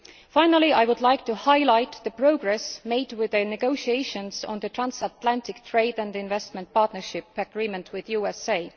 Finally, I would like to highlight the progress made with the negotiations on the Transatlantic Trade and Investment Partnership Agreement with the USA.